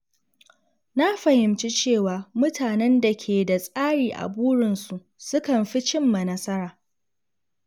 Na fahimci cewa mutanen da ke da tsari a burinsu sukan fi cimma nasara.